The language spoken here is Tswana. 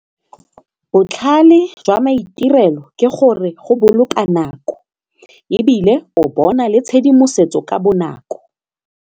Botlhale jwa maitirelo ke gore go boloka nako ebile o bona le tshedimosetso ka bonako.